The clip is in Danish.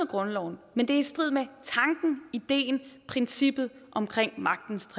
grundloven men det er i strid med tanken ideen princippet om magtens